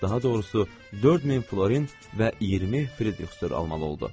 Daha doğrusu 4000 florin və 20 fritixdır almalı oldu.